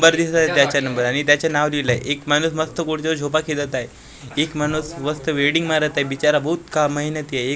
दिसत आहे त्याच्या नंबर आणि त्याचे नांव लिहिलंय एक माणूस मस्त कुठे झोका खेलत आहे एक माणूस मस्त वेल्डिंग मारत आय बिचारा बहुत का मेहनती आय.